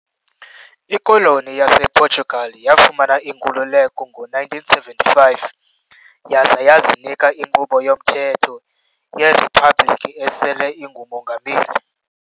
IKoloni yasePortugal, yafumana inkululeko ngo-1975 yaza yazinika inkqubo yomthetho yeriphabliki esele ingumongameli .